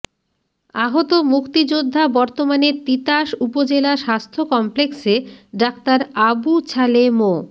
আহত মুক্তিযোদ্ধা বর্তমানে তিতাস উপজেলা স্বাস্থ্য কমপ্লেক্সে ডাক্তার আবু ছালে মো